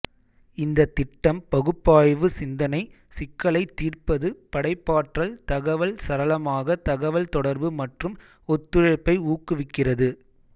இந்த திட்டம் பகுப்பாய்வு சிந்தனை சிக்கலைத் தீர்ப்பது படைப்பாற்றல் தகவல் சரளமாக தகவல் தொடர்பு மற்றும் ஒத்துழைப்பை ஊக்குவிக்கிறது